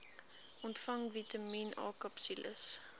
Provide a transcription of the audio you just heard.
ontvang vitamien akapsules